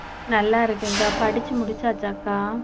நல்லா இருக்கேன்கா படிச்சு முடிச்சாச்சாக்கா